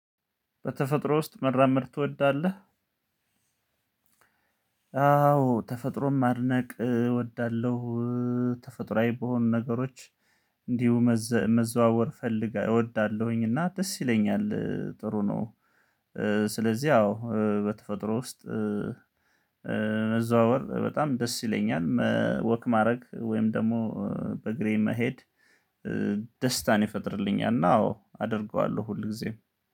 በተፈጥሮ ውስጥ መራመድ ትወዳለህ? አዎ ተፈጥሮን ማድነቅ እወዳለሁ፤ ተፈጥሮአዊ በሆኑ ነገሮች እንዲሁ መዘዋወር ፈልጋ እወዳለሁኝ እና ደስ ይለኛል ጥሩ ነው፤ ስለዚህ አዎ በተፈጥሮ ውስጥ መዘዋወር በጣም ደስ ይለኛል ወክ ማድረግ ወይም ደግሞ በግሬ መሄድ ደስታን ይፈጥርልኛል እና አዎ አደርገዋለሁ ሁል ጊዜም